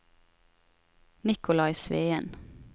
Nicolai Sveen